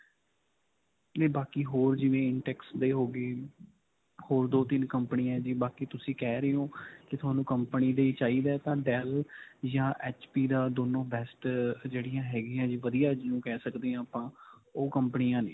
ਤੇ ਬਾਕੀ ਹੋਰ ਜਿਵੇਂ intex ਦੇ ਹੋ ਗਏ, ਹੋਰ ਦੋ-ਤਿੰਨ company ਹੈ ਜੀ ਬਾਕੀ ਤੁਸੀ ਕਹਿ ਰਹੇ ਹੋ ਕਿ ਤੁਹਾਨੂੰ company ਦੇ ਹੀ ਚਾਈਦਾ ਹੈ ਤਾਂ dell ਜਾਂ HP ਦਾ ਦੋਨੋ ਬੈਸਟ ਜਿਹੜੀਆਂ ਹੈਗਿਆਂ ਜੀ. ਜੀ ਵਧੀਆ ਜਿਨੂੰ ਕਹਿ ਸਕਦੇ ਹਾਂ ਆਪਾਂ ਉਹ ਕੰਪਨੀਆਂ ਨੇ ਜੀ.